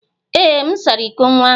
Ee, m sara iko nwa ahụ.